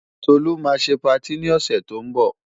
Tolú máa ṣe patí ni ọ̀sẹ̀ tó ń bọ̀.